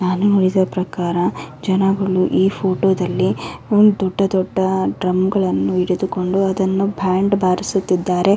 ನಾನು ನೋಡಿದ ಪ್ರಕಾರ ಜನಗಳು ಈ ಫೋಟೋ ದಲ್ಲಿ ಒಂದ್ ದೊಡ್ಡ ದೊಡ್ಡ ಡ್ರಮ್ ಗಳನ್ನು ಹಿಡಿದುಕೊಂಡು ಅದನ್ನು ಬ್ಯಾಂಡ್ ಬಾರಿಸುತಿದ್ದಾರೆ.